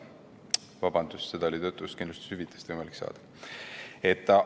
Vabandust, töötuskindlustushüvitist on võimalik nii pikalt saada.